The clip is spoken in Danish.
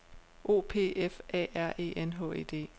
O P F A R E N H E D